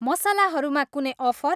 मसलाहरूमा कुनै अफर?